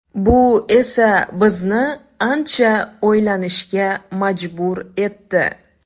Bu esa bizni ancha o‘ylanishga majbur etdi.